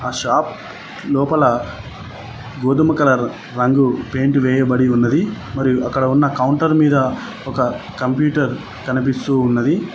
Shop లోపల గోధుమ colour రంగు వేయబడి ఉన్నది అక్కడ ఉన్న కౌంటర్ మీద ఒక కంప్యూటర్ కనిపిస్తూ ఉన్నది.